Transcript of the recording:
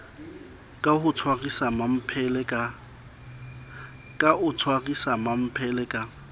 ka o tshwarisa mmamphele ka